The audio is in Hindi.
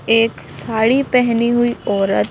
एक साड़ी पहनी हुई औरत--